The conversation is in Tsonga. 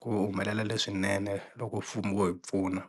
ku humelela leswinene loko mfumo wo hi pfuna.